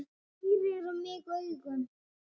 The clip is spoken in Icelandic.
Hún pírir á mig augun.